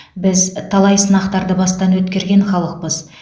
біз талай сынақтарды бастан өткерген халықпыз